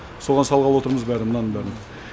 соған салғалы отырмыз бәрін мынаның бәрін